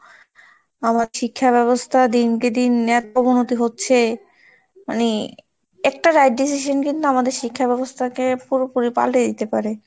আমার শিক্ষা ব্যবস্থা দিনকে দিনকে দিন এতো অবনতি হচ্ছে মানে একটা right decision কিন্তু আমাদের শিক্ষা ব্যবস্থাকে পুরোপুরি পাল্টে দিতে পারে।